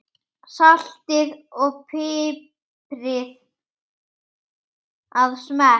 Saltið og piprið að smekk.